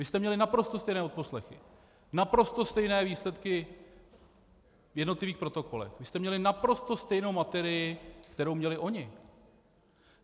Vy jste měli naprosto stejné odposlechy, naprosto stejné výsledky v jednotlivých protokolech, vy jste měli naprosto stejnou materii, kterou měli oni.